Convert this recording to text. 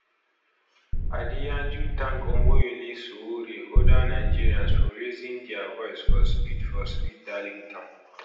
adeyanju thank omoyele sowore and oda nigerians for raising dia voice for speed for speed darlington